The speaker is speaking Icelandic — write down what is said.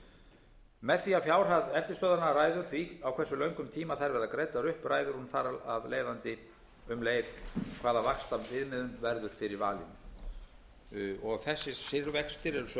þetta með því að fjárhæð eftirstöðvanna ræður því á hversu löngum tíma þær verða gerðar upp ræður hún þar af leiðandi um leið hvaða vaxtaviðmiðun verður fyrir valinu þessir vextir eru sömuleiðis háttvirtum